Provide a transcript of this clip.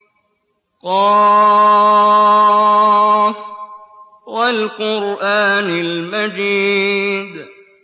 ق ۚ وَالْقُرْآنِ الْمَجِيدِ